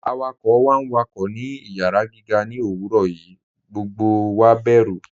Awakọ̀ wá n wákọ̀ ní ìyàrá gígà ní owurọ̀ yìí, gbogbo wá bẹ̀rù.